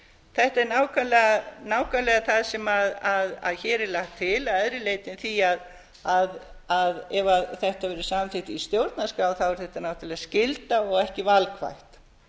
þetta er nákvæmlega það sem hér er lagt til að öðru leyti en því að ef þetta verður samþykkt í stjórnarskrá er þetta náttúrlega skylda og ekki valkvætt